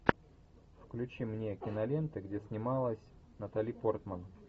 включи мне киноленты где снималась натали портман